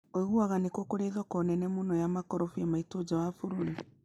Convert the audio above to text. Uiguaga nĩkũ kũri thoko nene mũno ya makondobia maitũ nja ya bũrũri